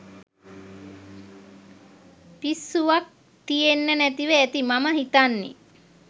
පිස්සුවක් තියෙන්න නැතිව ඇති මම හිතන්නේ